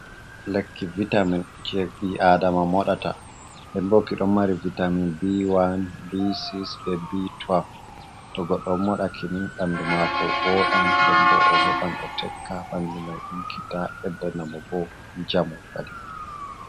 Lekki vitamin jey ɓi aadama moɗata nden boo ki ɗon mari vitamin B1, B6, bee B12 to goɗɗo moɗi ki ni ɓanndu maako wooɗan nden boo o heɓan o tekka ɓanndu may ɗiggita ɓeddana mo bo njamu kadi.